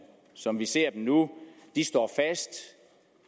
som vi ser dem nu står fast